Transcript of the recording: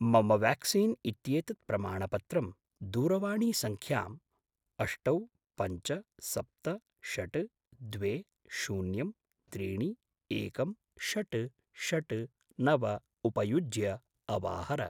मम व्याक्सीन् इत्येतत् प्रमाणपत्रं दूरवाणीसङ्ख्यां अष्टौ पञ्च सप्त षट् द्वे शून्यं त्रीणि एकं षट् षट् नव उपयुज्य अवाहर।